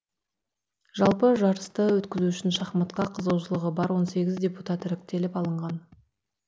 жалпы жарысты өткізу үшін шахматқа қызығушылығы бар он сегіз депутат іріктеліп алынған